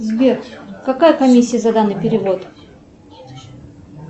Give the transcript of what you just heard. сбер какая комиссия за данный перевод